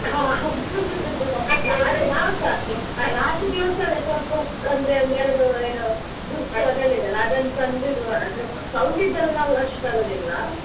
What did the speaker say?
ಹ ಹೌದು ಆದ್ರೆ ನಾವ್ಸ last ದಿವಸವೇ ಸ್ವಲ್ಪ ಹೊತ್ ಅಂದ್ರೆ ಒಂದ್ ಎರಡು ದುರ್ಸು ಅದೆಲ್ಲ ಇದೆ ಅಲ್ಲ ಅದನ್ನ್ ತಂದು ಇಡುವ ಅಂದ್ರೆ sound ದ್ದು ನಾವ್ ಅಷ್ಟ್ ತರುದಿಲ್ಲ.